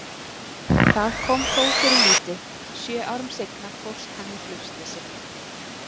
Það kom þó fyrir lítið, sjö árum seinna fórst hann í flugslysi.